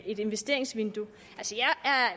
et investeringsvindue